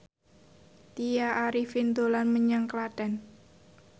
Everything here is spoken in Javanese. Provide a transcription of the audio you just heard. Tya Arifin dolan menyang Klaten